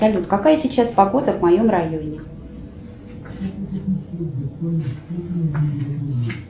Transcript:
салют какая сейчас погода в моем районе